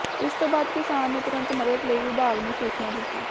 ਇਸ ਤੋਂ ਬਾਅਦ ਕਿਸਾਨ ਨੇ ਤੁਰੰਤ ਮਦਦ ਲਈ ਵਿਭਾਗ ਨੂੰ ਸੂਚਨਾ ਦਿੱਤੀ